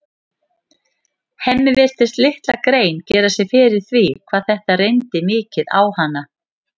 Hemmi virtist litla grein gera sér fyrir því hvað þetta reyndi mikið á hana.